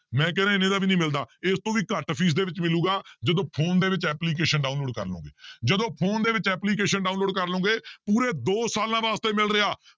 ਮੈਂ ਕਹਿਨਾ ਇੰਨੇ ਦਾ ਵੀ ਨੀ ਮਿਲਦਾ ਇਸ ਤੋਂ ਵੀ ਘੱਟ ਫ਼ੀਸ ਦੇ ਵਿੱਚ ਮਿਲੇਗਾ ਜਦੋਂ ਫ਼ੋਨ ਦੇ ਵਿੱਚ application download ਕਰ ਲਓਗੇ ਜਦੋਂ ਫ਼ੋਨ ਦੇ ਵਿੱਚ application download ਕਰ ਲਓਗੇ ਪੂਰੇ ਦੋ ਸਾਲਾਂ ਵਾਸਤੇ ਮਿਲ ਰਿਹਾ